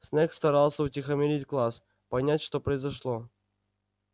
снегг старался утихомирить класс понять что произошло